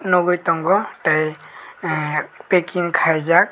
nugui tongo tei packing khaijak.